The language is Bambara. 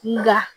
N da